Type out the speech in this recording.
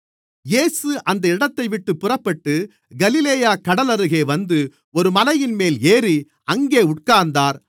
இயேசு அந்த இடத்தைவிட்டுப் புறப்பட்டு கலிலேயாக் கடலருகே வந்து ஒரு மலையின்மேல் ஏறி அங்கே உட்கார்ந்தார்